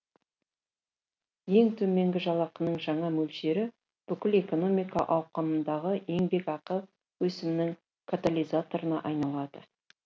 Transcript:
ең төменгі жалақының жаңа мөлшері бүкіл экономика ауқымындағы еңбекақы өсімінің катализаторына айналады